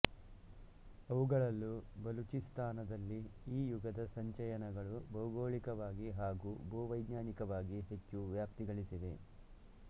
ಅವುಗಳಲ್ಲೂ ಬಲೂಚಿಸ್ಥಾನದಲ್ಲಿ ಈ ಯುಗದ ಸಂಚಯನಗಳು ಭೌಗೋಳಿಕವಾಗಿ ಹಾಗೂ ಭೂವೈಜ್ಞಾನಿಕವಾಗಿ ಹೆಚ್ಚು ವ್ಯಾಪ್ತಿಗಳಿಸಿವೆ